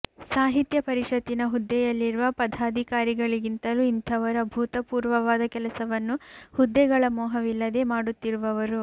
ಸಾಹಿತ್ಯ ಪರಿಷತ್ತಿನ ಹುದ್ದೆಯಲ್ಲಿರುವ ಪಧಾಧಿಕಾರಿಗಳಿಗಿಂತಲೂ ಇಂಥವರು ಅಭೂತಪೂರ್ವವಾದ ಕೆಲಸವನ್ನು ಹುದ್ದೆಗಳ ಮೋಹವಿಲ್ಲದೇ ಮಾಡುತ್ತಿರುವವರು